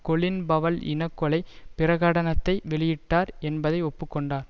Colin Powell இன கொலை பிரகடனத்தை வெளியிட்டார் என்பதை ஒப்பு கொண்டார்